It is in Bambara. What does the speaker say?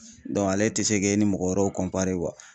Dɔnku ale te se k'e ni mɔgɔ wɛrɛw kɔnpare kuwa